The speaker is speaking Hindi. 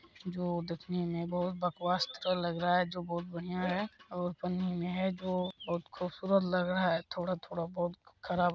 जो देखने में बहुत बकवास तो लग रहा है जो बहुत बढ़िया है और पन्नी में है जो बहुत खूबसूरत लग रहा है थोड़ा-थोड़ा बहुत खराब ---